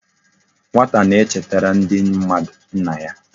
Nwata na e chetara ndi mmadu nna ya